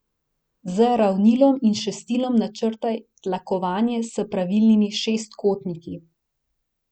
Z ravnilom in šestilom načrtaj tlakovanje s pravilnimi šestkotniki.